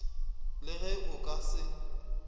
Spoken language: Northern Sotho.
le ge o ka se